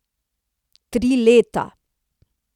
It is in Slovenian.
Tri leta!